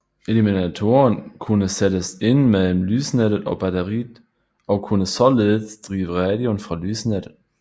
Eliminatoren kunne sættes ind mellem lysnettet og batteriet og kunne således drive radioen fra lysnettet